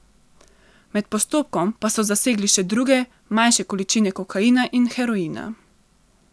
Med postopkom pa so zasegli še druge, manjše količine kokaina in heroina.